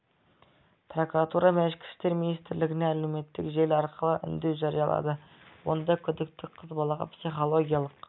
прокуратура мен ішкі істер министрлігіне әлеуметтік желі арқылы үндеу жариялады онда күдікті қыз балаға психологиялық